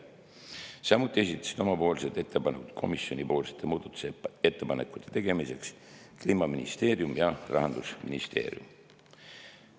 Samuti esitasid oma ettepanekud komisjoni muudatusettepanekute tegemiseks Kliimaministeerium ja Rahandusministeerium.